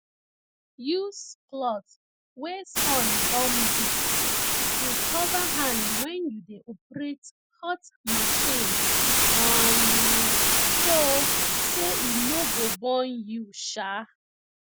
use cloth wey sun don beat to cover hand wen you dey operate hot machine um so say e no go burn you um